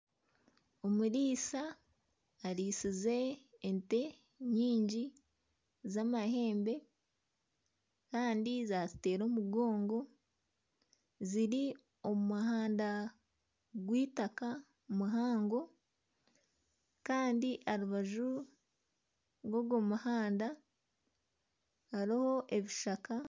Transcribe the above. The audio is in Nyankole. Omuriisa aritsize ente nyingi z'amahembe kandi zatuteera omugongo ziri omu muhanda gw'eitaka muhango kandi aha rubaju rwogw'omuhanda hariho ebishaka.